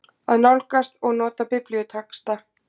AÐ NÁLGAST OG NOTA BIBLÍUTEXTA